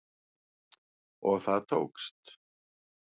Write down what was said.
Og það tókst